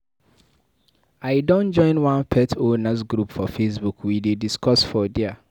I don join one pet owners group for facebook, we dey discuss for there.